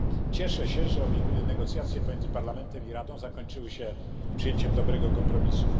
Cieszę się, że negocjacje pomiędzy Parlamentem i Radą zakończyły się przyjęciem dobrego kompromisu.